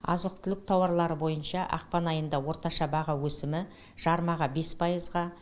азық түлік тауарлары бойынша ақпан айында орташа баға өсімі жармаға бес пайызға